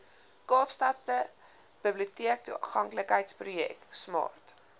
kaapstadse biblioteektoeganklikheidsprojek smart